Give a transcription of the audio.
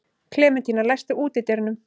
Klementína, læstu útidyrunum.